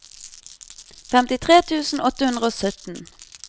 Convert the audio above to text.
femtitre tusen åtte hundre og sytten